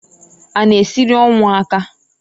A na eziri ọnwụ aka?